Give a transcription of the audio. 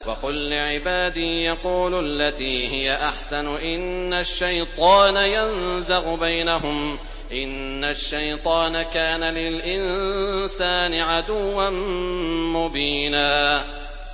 وَقُل لِّعِبَادِي يَقُولُوا الَّتِي هِيَ أَحْسَنُ ۚ إِنَّ الشَّيْطَانَ يَنزَغُ بَيْنَهُمْ ۚ إِنَّ الشَّيْطَانَ كَانَ لِلْإِنسَانِ عَدُوًّا مُّبِينًا